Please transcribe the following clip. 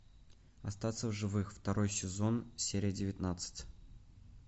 остаться в живых второй сезон серия девятнадцать